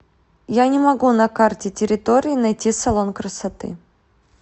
я не могу на карте территории найти салон красоты